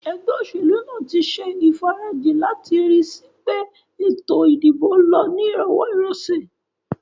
Egbé òsèlú nàá tí se ìfarajì láti ri síi pé ètò ìdìbò lo ni ìrowó ìrosè